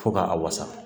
Fo ka a wasa